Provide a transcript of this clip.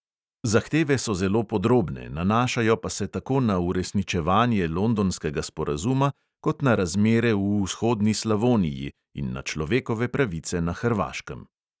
Zahteve so zelo podrobne, nanašajo pa se tako na uresničevanje londonskega sporazuma kot na razmere v vzhodni slavoniji in na človekove pravice na hrvaškem.